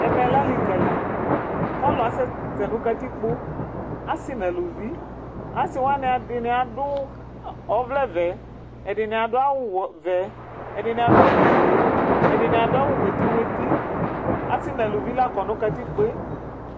ɛmɛlɛ ɑlikɑli ɑluɑsɛsɛ nu kɑtikpo ɑsi nɑluvi ɑsiwɑni ɛdiniɑdu ɔvlɛvɛ ɛdiniadu ɑwuwɛvɛ ɛdinɑdu ɑwufuɛ ɛdini ɑduawu muɛti muɛti ɔsinɛluvi lɑkɔ nukɑtikpoɛ